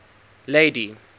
lady